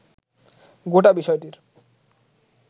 গোটা বিষয়টির